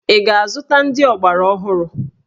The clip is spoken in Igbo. Ị ga-azụta ndị ọgbaraọhụrụ?